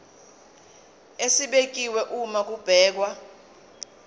esibekiwe uma kubhekwa